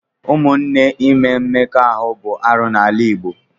Ụmụnne ime mmekọahụ bụ arụ n'ala Igbo.